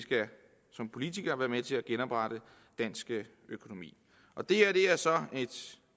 som politikere skal være med til at genoprette dansk økonomi og det her er så et